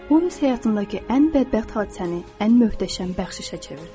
Omiss həyatındakı ən bədbəxt hadisəni ən möhtəşəm bəxşişə çevirdi.